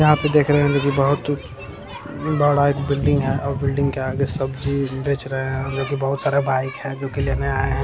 यहाँ पे देख रहे होंगे की बहुत बड़ा एक बिल्डिंग है और बिल्डिंग के आगे सब्जी बेच रहे हैं जोकि बहुत सारा बाइक है जोकि लेने आए हैं।